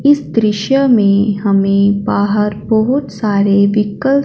इस दृश्य में हमें बाहर बहोत सारे व्हीकल --